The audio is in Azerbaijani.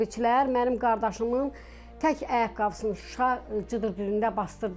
Hərbçilər mənim qardaşımın tək ayaqqabısının Şuşa cıdır düzündə basdırdılar.